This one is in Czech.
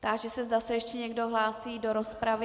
Táži se, zda se ještě někdo hlásí do rozpravy.